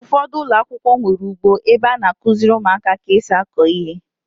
Ụfọdụ ụlọakwụkwọ nwere ugbo ebe a na-akụziri ụmụaka ka esi akọ ihe.